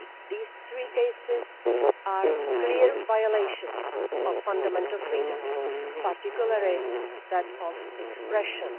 These three cases are clear violations of fundamental freedoms, particularly that of expression.